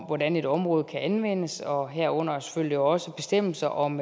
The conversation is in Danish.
hvordan et område kan anvendes og herunder selvfølgelig også bestemmelser om